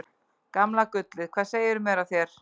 Gamla gullið, hvað segirðu mér af þér?